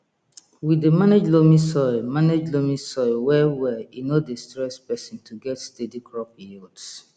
we dey manage loamy soil manage loamy soil well well e no dey stress person to get steady crop yields